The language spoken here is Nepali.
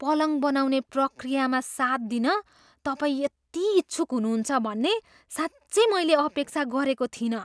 पलङ बनाउने प्रक्रियामा साथ दिन तपाईँ यति इच्छुक हुनुहुन्छ भन्ने साँच्चै मैले अपेक्षा गरेको थिइनँ।